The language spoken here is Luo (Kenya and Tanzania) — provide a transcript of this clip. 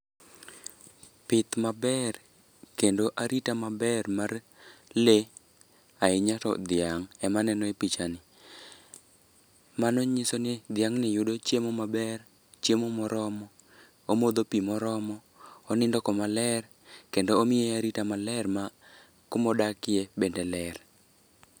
Pith maber, kendo arita maber mar lee, ahinya to dhiang' ema aneno e pichani. Mano nyisoni dhiang'ni yudo chiemo maber, chiemo moromo, omodho pii moromo, onindo kama ler, kendo omiye arita maler ma kuma odakie bende ler.